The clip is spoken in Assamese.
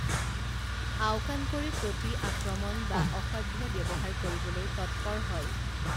আওকাণ কৰি প্ৰতি আক্ৰমণ বা অসভ্য ব্যৱহাৰ কৰিবলৈ তৎপৰ হয়